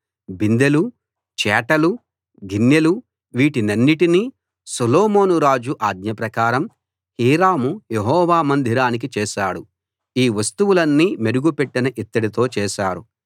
బిందెలూ చేటలూ గిన్నెలూ వీటినన్నిటినీ సొలొమోను రాజు ఆజ్ఞ ప్రకారం హీరాము యెహోవా మందిరానికి చేశాడు ఈ వస్తువులన్నీ మెరుగు పెట్టిన ఇత్తడితో చేసారు